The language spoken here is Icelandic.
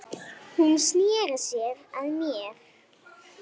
Hún sneri sér að mér.